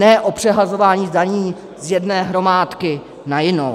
Ne o přehazování daní z jedné hromádky na jinou.